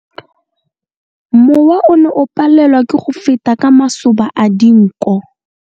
Mowa o ne o palelwa ke go feta ka masoba a dinko.